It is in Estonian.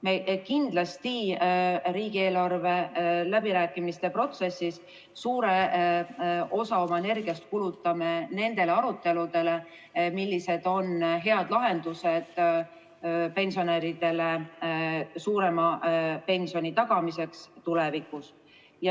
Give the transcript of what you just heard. Me kindlasti riigieelarve läbirääkimiste protsessis suure osa oma energiast kulutame aruteludele selle üle, millised on head lahendused pensionäridele suurema pensioni tagamiseks tulevikus.